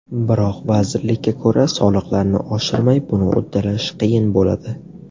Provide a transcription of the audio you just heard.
Biroq, vazirlikka ko‘ra, soliqlarni oshirmay buni uddalash qiyin bo‘ladi.